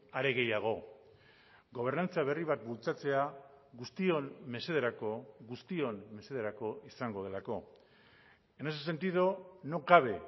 are gehiago gobernantza berri bat bultzatzea guztion mesederako guztion mesederako izango delako en ese sentido no cabe